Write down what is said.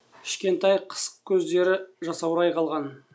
кішкентай қысық көздері жасаурай қалған